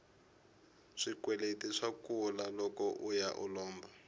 swikweleti swa kula loko uya u lomba